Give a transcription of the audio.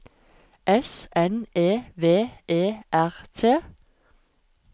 S N E V E R T